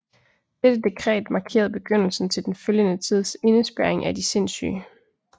Dette dekret markerede begyndelsen til den følgende tids indespærring af de sindssyge